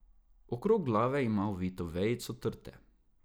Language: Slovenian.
Okrog glave ima ovito vejico trte.